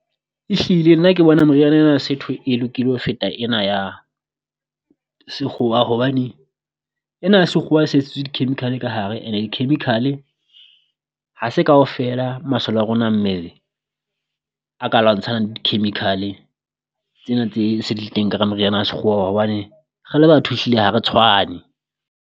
Ehlile nna ke bona moriana ena ya setho e lokile ho feta ena ya sekgowa hobane, ena ya sekgowa se tshetswe di chemical ka hare. And-e di chemical-e ha se kaofela masole a rona a mmele a ka lwantshanang le di chemical-e tsena tse se di le teng ka hara moriana wa sekgoa hobane re le batho hlile ha re tshwane.